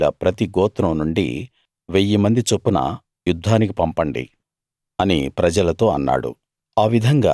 ఇశ్రాయేలీయుల ప్రతి గోత్రం నుండి వెయ్యిమంది చొప్పున యుద్ధానికి పంపండి అని ప్రజలతో అన్నాడు